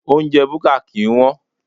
Oúnjẹ búkà kì ń wón.